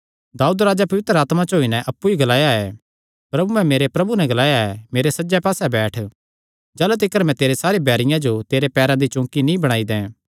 दाऊद राजैं अप्पु ई पवित्र आत्मा च होई नैं ग्लाया प्रभुयैं मेरे प्रभु नैं ग्लाया मेरे सज्जे पास्से बैठ जाह़लू तिकर मैं तेरे बैरियां जो तेरे पैरां दी चौंकी नीं बणाई दैं